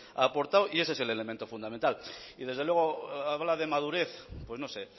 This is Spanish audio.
ha aportado y ese es el elemento fundamental y desde luego habla de madurez pues no sé